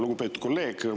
Lugupeetud kolleeg!